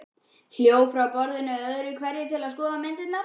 Hljóp frá borðinu öðru hverju til að skoða myndirnar.